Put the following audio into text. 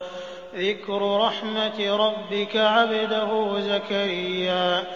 ذِكْرُ رَحْمَتِ رَبِّكَ عَبْدَهُ زَكَرِيَّا